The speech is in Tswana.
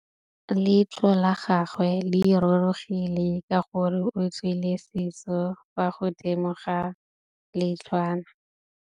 Leitlhô la gagwe le rurugile ka gore o tswile sisô fa godimo ga leitlhwana.